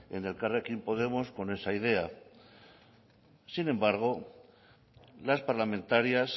en elkarrekin podemos con esa idea sin embargo las parlamentarias